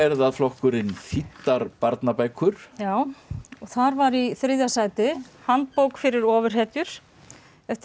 það flokkurinn þýddar barnabækur já og þar var í þriðja sæti handbók fyrir ofurhetjur eftir